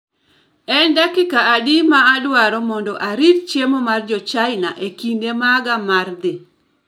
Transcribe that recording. En dakika adi ma adwaro mondo arit chiemo mar jo chaina e kinde maga mar dhi